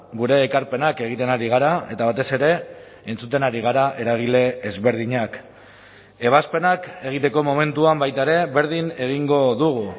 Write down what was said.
gure ekarpenak egiten ari gara eta batez ere entzuten ari gara eragile ezberdinak ebazpenak egiteko momentuan baita ere berdin egingo dugu